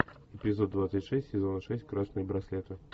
эпизод двадцать шесть сезона шесть красные браслеты